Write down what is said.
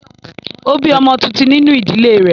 Ó bí ọmọ tuntun nínú ìdílé rẹ̀